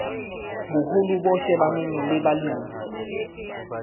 boholo bo shebaneng le balemi